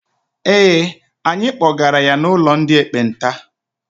Ee, anyị kpọgara ya n'ụlọ ndị ekpenta.